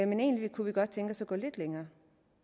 men egentlig kunne vi godt tænke os at gå lidt længere